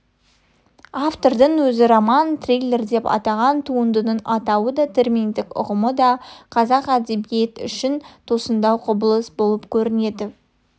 автордың өзі роман-триллер деп атаған туындының атауы да терминдік ұғымы да қазақ әдебиеті үшін тосындау құбылыс болып көрінеді